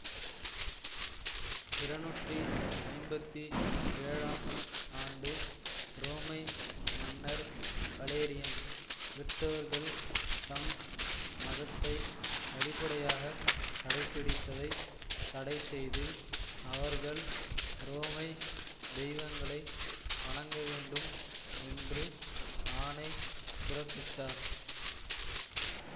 இரணுற்றி ஐம்பத்தி ஏழாம் ஆண்டு உரோமை மன்னர் வலேரியன் கிறித்தவர்கள் தம் மதத்தை வெளிப்படையாக கடைப்பிடிப்பதைத் தடைசெய்து அவர்கள் உரோமை தெய்வங்களை வணங்கவேண்டும் என்று ஆணை பிறப்பித்தார்